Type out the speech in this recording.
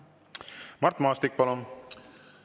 Mart Maastik, palun!